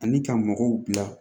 Ani ka mɔgɔw bila